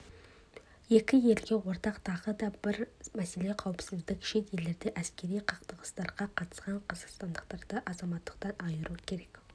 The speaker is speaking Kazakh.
екі елге ортақ тағы бір мәселе қауіпсіздік шет елдерде әскери қақтығыстарға қатысқан қазақстандықтарды азаматтықтан айыру керек